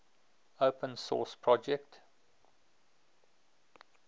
open source project